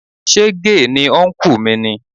Ṣé gay ni ọnkú mi ni?